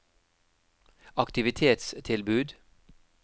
aktivitetstilbud